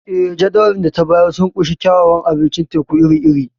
Eh, Jadawalin da ta bayar sun ƙunshi kyawawan abincin teku iri-iri.